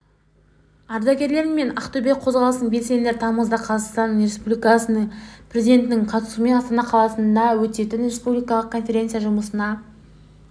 ардагерлер мен ақтөбе қозғалысының белсенділері тамызда қазақстан республикасы президентінің қатысуымен астана қаласында өтетін республикалық конференция жұмысына